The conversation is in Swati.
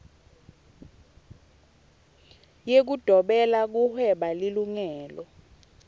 yekudobela kuhweba lilungelo